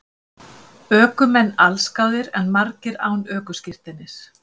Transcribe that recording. Ökumenn allsgáðir en margir án ökuskírteinis